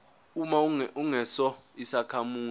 uma ungesona isakhamuzi